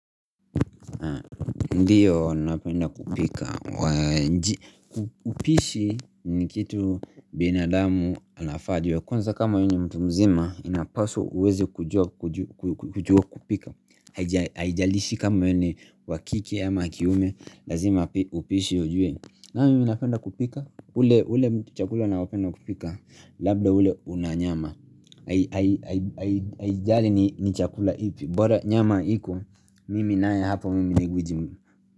Ndiyo napenda kupika. Upishi nikitu binadamu anafaajue. Kwanza kama we ni mtu mzima inapaswa uweze kujua kujua kupika haijalishi kama we ni wa kike ama kiume lazima upishu ujue nani yule anapenda kupika, ule chakula. Labda ule unanyama. Haijali ni chakula ipi. Bora nyama hiko. Mimi naye hapo mimi guiji.